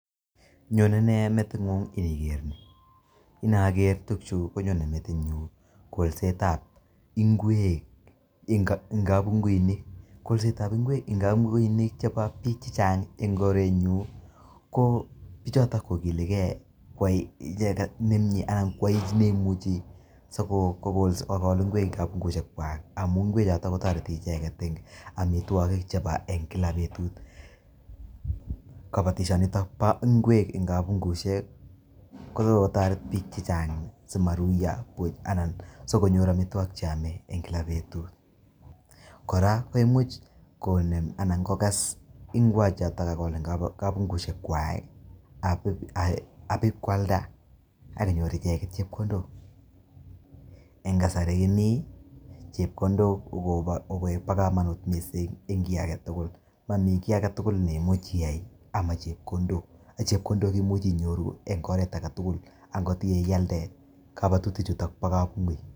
Nyone nee meting'ung iniker nii?, inoker tukuchu konyone metinyun kolsetab ing'wek en kabung'uinik, kolsetab ing'wek en kabung'uinik chebo biik chechang en korenyun ko bichoton kokilekee koyai icheket nemnye anan koyai neimuchi sikokol ing'wek en kabung'uishekwak amun ingwechotok kotoreti icheket en omitwokik chebo en kilak betut, koboishetab kabungushek kokotoret biik chechang simoruyo buch anan sikonyor amitwokik en kilak betut , kora koimuch Komen anan kokes ing'wechoton ak Komen en kabungushekwak abakialda akonyor icheket chepkondok, en kasari kimii ko chepkondok kobokomonut mising en kii aketukul, momii kii aketukul neimuchi iyai amaa chepkondok , chepkondok imuche inyoru en oret aketukul, ang'ot ialde kobotutichuto bo kabungui.